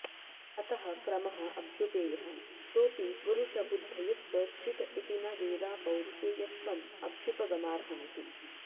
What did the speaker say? अतः क्रमः अभ्युपेयः सोऽपि पुरुषबुध्दयुत्प्रेक्षित इति न वेदापौरुषेयत्वं अभ्युपगमार्हमिति